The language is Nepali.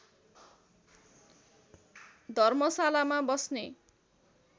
धर्मशालामा बस्ने